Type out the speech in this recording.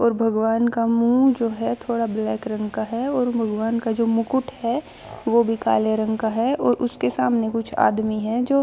और भगवान का मुंह जो है थोड़ा ब्लैक रंग का है और भगवान का जो मुकुट है वो भी काले रंग का है और उसके सामने कुछ आदमी है जो--